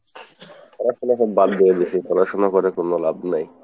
পড়াশুনা তো বাদ দিয়ে দিয়েছি, পড়াশুনা করে কোনো লাভ নাই।